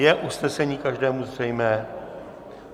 Je usnesení každému zřejmé?